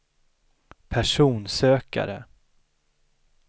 personsökare